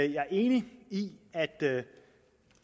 jeg er enig i